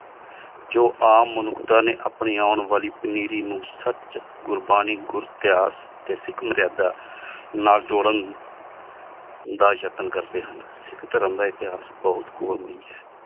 ਜੋ ਆਮ ਮੁਨੁਖ੍ਤਾਂ ਨੀ ਆਪਣੀ ਆਂ ਵਾਲੀ ਪਨੀਰੀ ਨੂ ਸਚ ਗੁਰਬਾਣੀ ਗੁਰ ਏਤੇਹਾਸ ਟੀ ਸਿਖ ਮਰਯਾਦਾ ਨਾਲ ਤੋਰਨ ਦਾ ਜਾਤਾਂ ਕਰਦੀ ਹਨ ਸਿਖ ਧਰਮ ਦਾ ਏਤੇਹਾਸ ਬੋਹਤ